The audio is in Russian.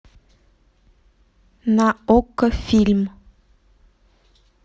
на окко фильм